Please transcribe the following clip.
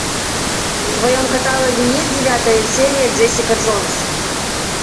в твоем каталоге есть девятая серия джессика джонс